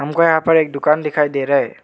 मुझको यहां पर एक दुकान दिखाई दे रहा है।